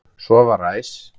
Svo var ræs.